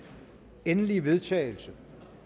endelige vedtagelse